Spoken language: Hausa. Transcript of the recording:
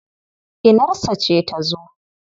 Inarsa ce ta zo.